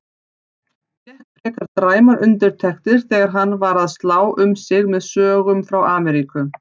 Fékk frekar dræmar undirtektir þegar hann var að slá um sig með sögum frá Ameríku.